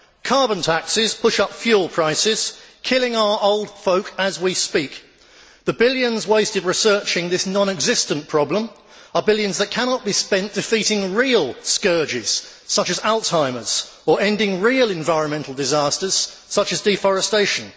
Carbon taxes push up fuel prices, killing our old folk as we speak. The billions wasted researching this non existent problem are billions that cannot be spent defeating real scourges such as Alzheimer's, or ending real environmental disasters such as deforestation.